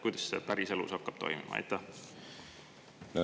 Kuidas see päriselus hakkab toimuma?